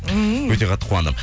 ммм өте қатты қуандым